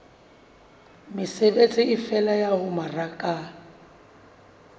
mesebetsi efe ya ho mmaraka